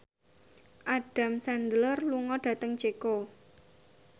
Adam Sandler lunga dhateng Ceko